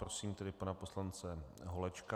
Prosím tedy pana poslance Holečka.